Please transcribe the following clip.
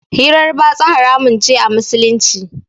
Hirar batsa haramun ce a Musulunci.